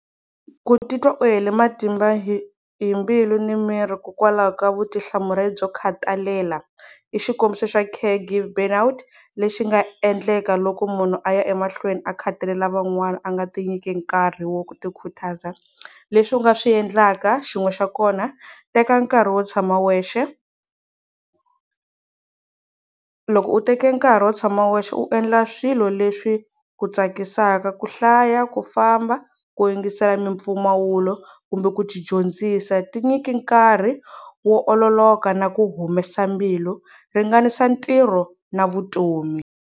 Ku titwa u heli matimba hi hi mbilu ni miri hikokwalaho ka vutihlamuleri byo khathalelana, i xikombiso xa Care give burn out, lexi nga endleka loko munhu a ya emahlweni a khathalelana van'wana a nga tinyike nkarhi wo ku tikhutaza, leswi u nga swi endlaka, xin'we xa kona teka nkarhi wo tshama wexe, loko u teke nkarhi wo tshama wexe u endla swilo leswi ku tsakisaka ku, hlaya ku famba ku yingisela mimpfumawulo kumbe ku dyondzisa. Ti nyiki nkarhi wo ololoka na ku humesa mbilu. Ringanisa ntirho na vutomi.